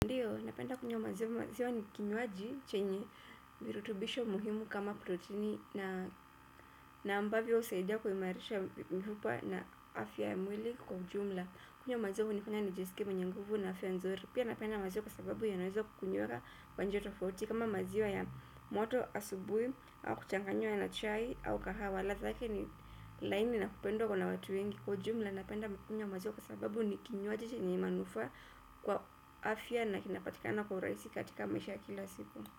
Napenda kunywa maziwa maziwa ni kinywaji chenye virutubisho muhimu kama protini na ambavyo husaidia kuhimarisha mifupa na afya ya mwili kwa ujumla. Kunywa maziwa kunanifanya nijisikie mwenye nguvu na afya ya nzuri. Pia napenda maziwa kwa sababu yanaweza kukunyora kwa njia tofauti kama maziwa ya moto asubui au kuchanganywa ya na chai au kahawa ladha yake ni laini na kupendwa na watu wengi. Kiujumla napenda kunywa maziwa kwa sababu ni kinywaji chenye manufaa kwa afya na kinapatikana kwa urahisi katika maisha kila siku.